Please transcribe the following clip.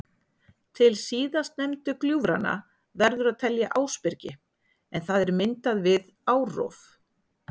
Til síðast nefndu gljúfranna verður að telja Ásbyrgi en það er myndað við árrof.